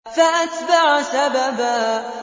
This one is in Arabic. فَأَتْبَعَ سَبَبًا